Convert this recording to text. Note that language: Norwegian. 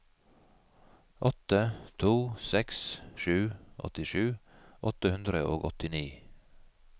åtte to seks sju åttisju åtte hundre og åttini